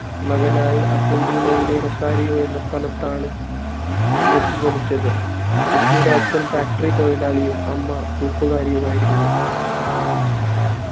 മകനായി അർജന്റീനയിലെ റൊസാരിയോ എന്ന സ്ഥലത്താണ് മെസ്സി ജനിച്ചത് മെസ്സിയുടെ അച്ഛൻ factory തൊഴിലാളിയും 'അമ്മ തൂപ്പുകാരിയുമായിരുന്നു